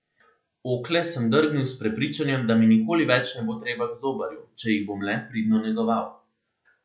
Okle sem drgnil s prepričanjem, da mi nikoli več ne bo treba k zobarju, če jih bom le pridno negoval.